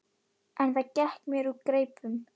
En það gekk mér úr greipum.